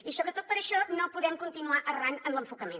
i sobretot per això no podem continuar errant en l’enfocament